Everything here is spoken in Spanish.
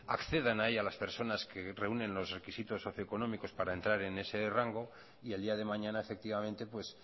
accedan a ella las personas que reúnen socioeconómicos para entrar en ese rango y el día de mañana efectivamente